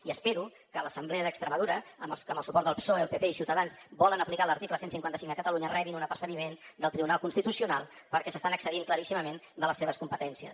i espero que l’assemblea d’extremadura amb el suport del psoe el pp i ciutadans volen aplicar l’article cent i cinquanta cinc a catalunya rebin una apercebiment del tribunal constitucional perquè s’estan excedint claríssimament de les seves competències